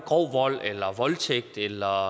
eller voldtægt eller